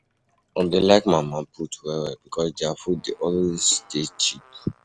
I dey like mama-put well-well because their food dey always dey cheap.